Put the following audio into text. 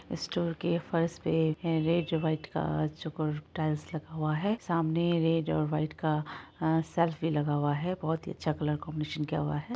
Store के फर्श पे रेड व्हाइट का टाइल्स लगे हुआ है सामने रेड व्हाइट का शेल्फ भी लगाा हुआ है बहुत ही अच्छा कलर कॉम्बिनेशन किया हुआ है।